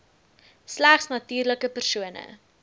slegs natuurlike persone